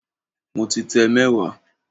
Mo ti tẹ mẹ́wàá